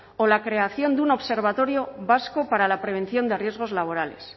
o la creación de un observatorio vasco para la prevención de riesgos laborales